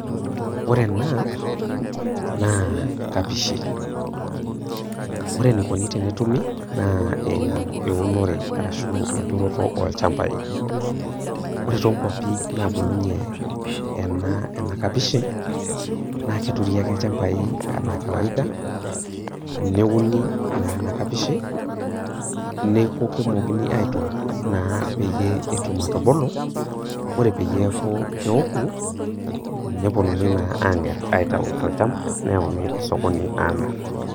Ore ena naa emkapishi, ore eneikuni pee etumi naa eimu eunore, arashu enturoto olchambai. Ore toonkwapi naabulunye ena kapishi naa keturi aki ilchambai anaa kawaida neuni naa ena kapishi, neaku eitokini naa aitook naa peyie etum atubulu, ore peyie eaku keoku nepuonuni naa ang'er tolchamba neyauni naa esokoni aamir.